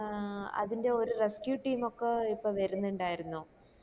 ആഹ് അതിന്റെ ഒരു rescue team ഒക്കെ ഇപ്പൊ ബാരുന്നുണ്ടായിരുന്നോ